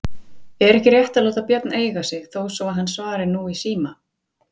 Er ekki rétt að láta Björn eiga sig þó svo hann svari nú síma?